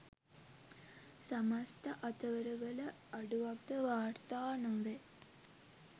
සමස්ත අතවරවල අඩුවක්ද වාර්ථා නොවේ